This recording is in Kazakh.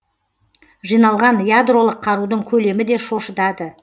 жиналған ядролық қарудың көлемі де шошытады